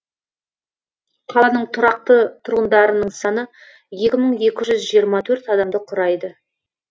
қаланың тұрақты тұрғындарының саны екі мың екі жүз жиырма төрт адамды құрайды